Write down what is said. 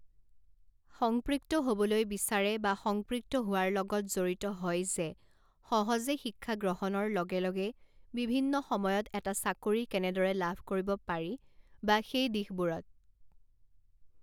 সংপৃক্ত হ'বলৈ বিচাৰে বা সংপৃক্ত হোৱাৰ লগত জড়িত হয় যে সহজে শিক্ষা গ্ৰহণৰ লগে লগে বিভিন্ন সময়ত এটা চাকৰি কেনেদৰে লাভ কৰিব পাৰি বা সেই দিশবোৰত